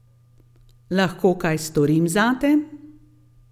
Lahko kaj storim zate?